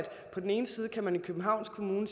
københavns kommune